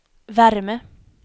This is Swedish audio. värme